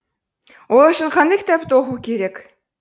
ол үшін қандай кітапты оқу керек